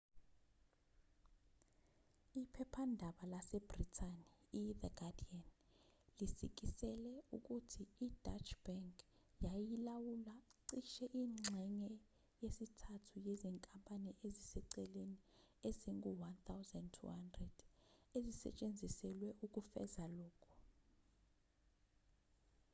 iphephandaba lasebhrithani ithe guardian lisikisele ukuthi ideutsche bank yayilawula cishe ingxenye yesithathu yezinkampani eziseceleni ezingu-1200 ezisetshenziselwe ukufeza lokhu